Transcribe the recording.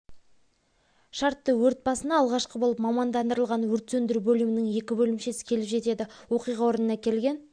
шартты өрт басына алғашқы болып мамандандырылған өрт сөндіру бөлімінің екі бөлімшесі келіп жетеді оқиға орнына келген